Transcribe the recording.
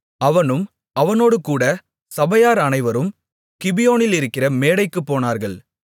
அவனும் அவனோடுகூட சபையார் அனைவரும் கிபியோனிலிருக்கிற மேடைக்குப் போனார்கள்